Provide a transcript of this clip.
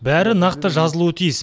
бәрі нақты жазылуы тиіс